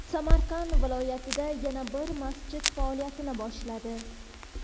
Samarqand viloyatida yana bir masjid faoliyatini boshladi.